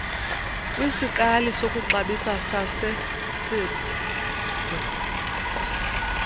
kwisikali sokuxabisa sasesib